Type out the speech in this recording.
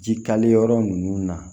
Jikali yɔrɔ ninnu na